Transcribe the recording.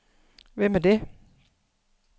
Hvem er det